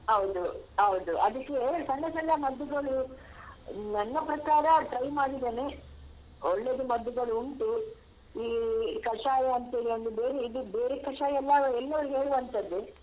ಹೌದು ಹೌದು ಅದಕ್ಕೆ ಸಣ್ಣ ಸಣ್ಣ ಮದ್ದುಗಳು ನನ್ನ ಪ್ರಕಾರ try ಮಾಡಿದೇನೇ ಒಳ್ಳೇದು ಮದ್ದುಗಳುಂಟು ಈ ಕಷಾಯ ಅಂತೇಳಿ ಒಂದು ಬೇರು ಇದು ಬೇರೆ ಕಷಾಯ ಎಲ್ಲಾವೂ ಎಲ್ಲವೂ ಹೇಳುವಂತದ್ದೇ.